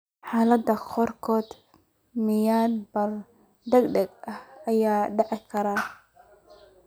Xaaladaha qaarkood, miyir-beel degdeg ah ayaa dhici karta.